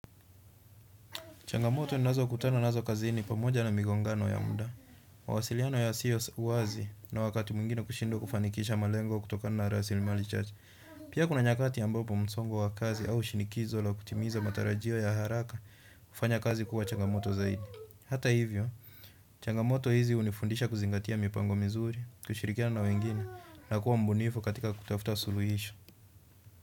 Changamoto ninazokutana nazo kazini ni pamoja na migongano ya muda. Mawasiliano yasio wazi na wakati mwingine kushindwa kufanikisha malengo kutokana na rasilimali chache. Pia kuna nyakati ambapo msongo wa kazi au shinikizo la kutimiza matarajio ya haraka kufanya kazi kuwa changamoto zaidi. Hata hivyo, changamoto hizi hunifundisha kuzingatia mipango mizuri, kushirikiana na wengine na kuwa mbunifu katika kutafuta suluhisho.